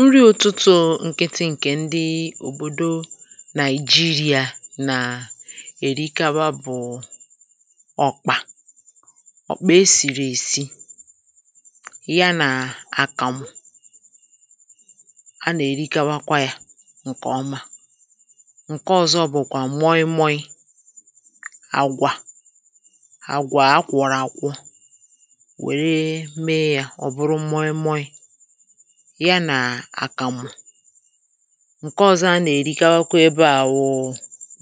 nri ụtụtụ nkịtụ ǹkè ndị òbòdo nàịjirịà na-èrikawa bụ̀ ọ̀kpà ọ̀kpà e sìrì èsi yanà àkàm a nà-èrikawakwa ya ǹkèọma ǹke ọ̀zọ bụ̀kwà moi moi àgwà àgwà akwọ̀rọ̀ àkwọ wère mee ya ọ bụrụ moi moi ya nà àkàmụ̀ ǹke ọ̀zọ a nà-èrikawakwa ebe à wụ̀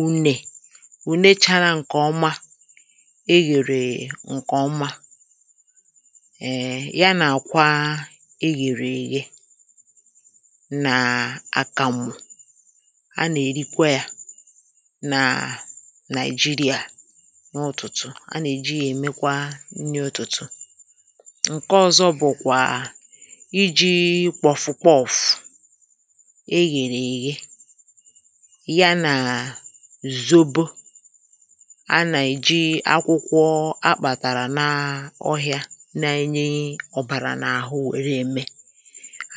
unyè wụ̀ nechara ǹkè ọma e ghèrè ǹkè ọma èè ya nà-àkwa e ghèrè èye nà àkàmụ̀ a nà-èrikwa yȧ nàà nàị̀jirì à n’ụ̀tụtụ a nà-èji yȧ èmekwa nni ụtụ̀tụ̀ ǹke ọ̀zọ bụ̀kwà eghèrè èghe ya nà zòbo a nà-èji akwụkwọ akpàtàrà n’ọhịȧ n’enye ọ̀bàrà n’àhụ wèru eme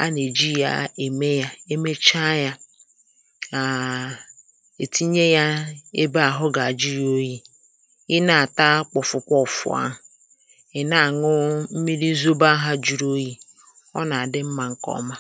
a nà-èji yȧ ème yȧ emecha yȧ ètinye yȧ ebe àhụ gà-àjịrị oyi̇ ị nà-àta kpọ̀fụkwa ọ̀fụ̀a à ǹkè ọma